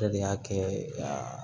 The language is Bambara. Dɔ de y'a kɛ a